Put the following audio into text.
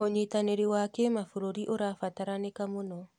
ũnyitanĩri wa kĩmabũrũri ũrabataranĩka mũno.